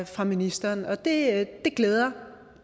fra ministeren og det glæder